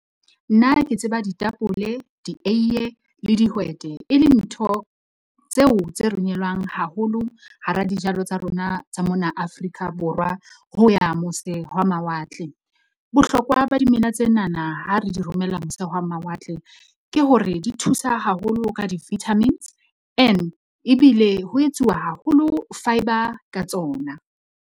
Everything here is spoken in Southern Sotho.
Nna ke tseba ditapole, dieiye le dihwete e le ntho tseo tse romelwang haholo hara dijalo tsa rona tsa mona Afrika Borwa, ho ya mose hwa mawatle. Bohlokwa ba dimela tsenana ha re di romella mose hwa mawatle, ke hore di thusa haholo ka di-vitamins and ebile ho etsuwa haholo fibre ka tsona.